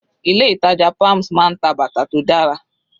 Ilé ìtàjà palms máa ń ta bàtà tó dára.